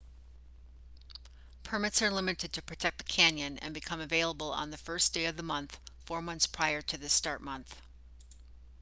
permits are limited to protect the canyon and become available on the 1st day of the month four months prior to the start month